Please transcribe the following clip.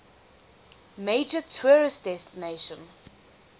major tourist destination